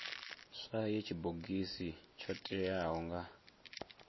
swaye tshibogisi tsho teaho nga